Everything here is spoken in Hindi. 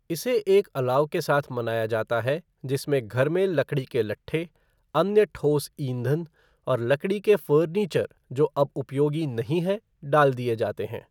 इसे एक अलाव के साथ मनाया जाता है जिसमें घर में लकड़ी के लट्ठे, अन्य ठोस ईंधन और लकड़ी के फ़र्नीचर जो अब उपयोगी नहीं है डाल दिए जाते है।